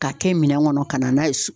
K'a kɛ minɛn kɔnɔ ka na n'a ye so